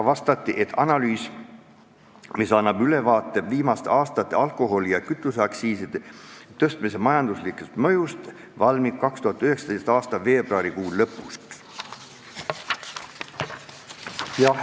Vastati, et analüüs, mis annab ülevaate viimaste aastate alkoholi- ja kütuseaktsiiside tõstmise majanduslikust mõjust, valmib 2019. aasta veebruari lõpuks.